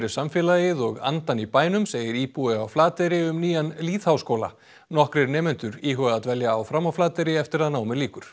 samfélagið og andann í bænum segir íbúi á Flateyri um nýjan lýðháskóla nokkrir nemendur íhuga að dvelja áfram á Flateyri eftir að námi lýkur